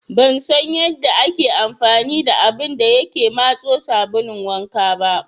Ban san yanda ake amfani da abun da yake matso sabulun wanka ba.